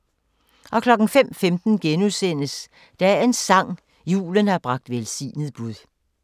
05:15: Dagens sang: Julen har bragt velsignet bud *